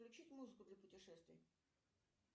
включить музыку для путешествий